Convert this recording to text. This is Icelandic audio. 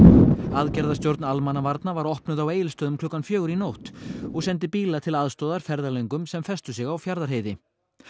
aðgerðastjórn almannavarna var opnuð á Egilsstöðum klukkan fjögur í nótt og sendi bíla til aðstoðar ferðalöngum sem festu sig á Fjarðarheiði